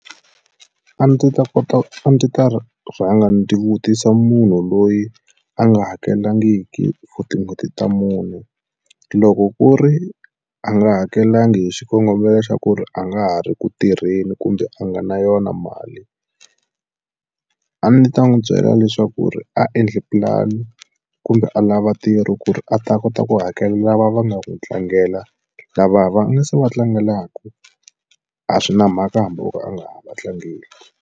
A ndzi ta kota a ndzi ta rhanga ndzi vutisa munhu loyi a nga hakelangiki for tin'hweti ta mune loko ku ri a nga hakelangi hi xikongomelo xa ku ku ri a nga ha ri ku tirheni kumbe a nga na yona mali a ndzi ta n'wi byela leswaku ri a endle pulani kumbe a lava ntirho ku ri a ta kota ku hakela lava va nga n'wi tlangela lava va nga se va tlangelaku a swi na mhaka hambi o ka a nga ha va tlangeli.